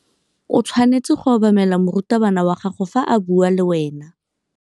O tshwanetse go obamela morutabana wa gago fa a bua le wena.